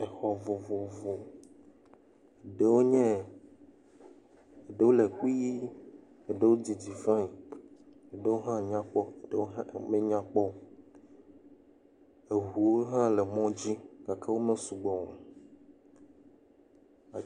Exɔ vovovo. Ɖewo nye ɖewo le kpui. Eɖewo didi fain, ɖewo hã nyakpɔ, ɖewo hã menyakpɔ o. Eŋuwo hã le mɔ dzi gake wome sugbɔ o.